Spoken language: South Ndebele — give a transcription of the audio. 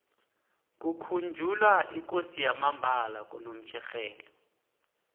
kukhunjulwa ikosi yamambala konomtjherhelo